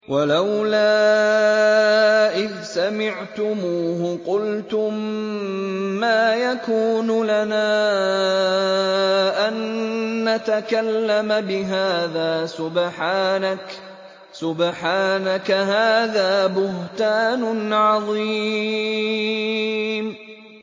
وَلَوْلَا إِذْ سَمِعْتُمُوهُ قُلْتُم مَّا يَكُونُ لَنَا أَن نَّتَكَلَّمَ بِهَٰذَا سُبْحَانَكَ هَٰذَا بُهْتَانٌ عَظِيمٌ